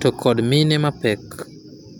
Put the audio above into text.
to kod mine mapek.